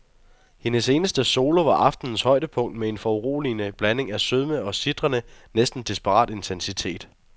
Hendes eneste solo var aftenens højdepunkt med en foruroligende blanding af sødme og en sitrende, næsten desperat intensitet.